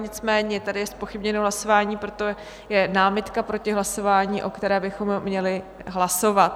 Nicméně je tady zpochybněno hlasování, proto je námitka proti hlasování, o které bychom měli hlasovat.